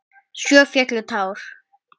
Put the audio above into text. Svo féllu tár.